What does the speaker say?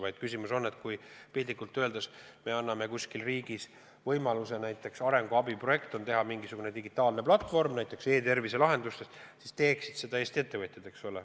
Aga kui me piltlikult öeldes anname kuskil riigis võimaluse teha arenguabiprojekti raames mingisugune digitaalne platvorm, näiteks e-tervise lahendus, siis teeksid seda Eesti ettevõtjad.